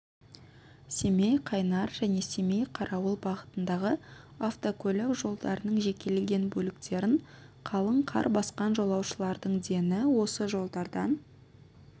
семей-қайнар және семей-қарауыл бағытындағы автокөлік жолдарының жекелеген бөліктерін қалың қар басқан жолаушылардың дені осы жолдардан